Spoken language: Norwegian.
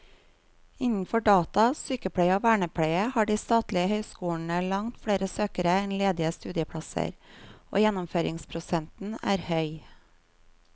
Innenfor data, sykepleie og vernepleie har de statlige høyskolene langt flere søkere enn ledige studieplasser, og gjennomføringsprosenten er høy.